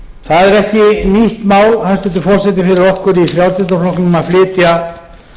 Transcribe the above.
það er ekki nýtt mál hæstvirtur forseti fyrir okkur í frjálslynda flokknum að flytja